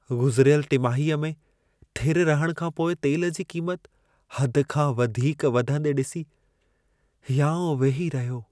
गुज़िरियल टिमाहीअ में थिरु रहण खां पोइ तेल जी क़ीमत हद खां वधीक वधंदे ॾिसी हियाउं वेही रहियो।